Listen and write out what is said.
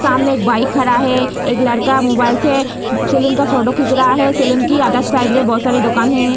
सामने एक बाइक खड़ा है एक लड़का मोबाइल से सैलून का फोटो खीच रहा है सैलून की अदर साइड में बहुत सारी दुकान हैं।